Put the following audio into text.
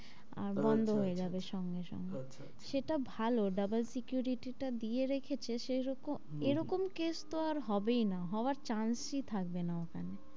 আর বন্ধ হয়ে যাবে সঙ্গে-সঙ্গে আচ্ছা আচ্ছা, সেটা ভালো double security টা দিয়ে রাখছে সেই রকম এরকম case তো আর হবেই না, হওয়ার chance ই থাকবে না ওখানে,